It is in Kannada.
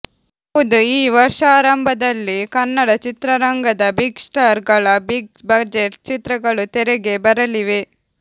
ಹೌದು ಈ ವರ್ಷಾರಂಭದಲ್ಲಿ ಕನ್ನಡ ಚಿತ್ರರಂಗದ ಬಿಗ್ ಸ್ಟಾರ್ ಗಳ ಬಿಗ್ ಬಜೆಟ್ ಚಿತ್ರಗಳು ತೆರೆಗೆ ಬರಲಿವೆ